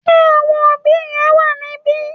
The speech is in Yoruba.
Ṣé àwọn òbí rẹ wà níbí?